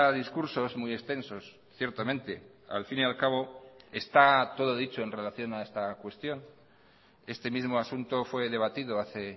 discursos muy extensos ciertamente al fin y al cabo está todo dicho en relación a esta cuestión este mismo asunto fue debatido hace